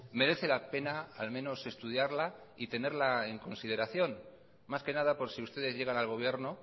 merece la pena al menos estudiarla y tenerla en consideración más que nada por si ustedes llegan al gobierno